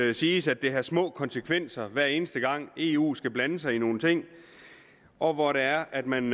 det siges at det har små konsekvenser hver eneste gang eu skal blande sig i nogle ting og hvor det er at man